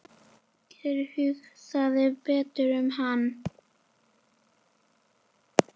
Gæti hugsað betur um hann.